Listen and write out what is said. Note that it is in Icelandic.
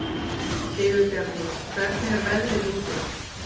Sigurbjarni, hvernig er veðrið úti?